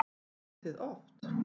Æfið þið oft?